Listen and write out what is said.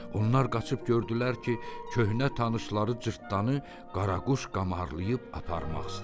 Onlar qaçıb gördülər ki, köhnə tanışları cırtdanı qaraquş qamarlayıb aparmaq istəyir.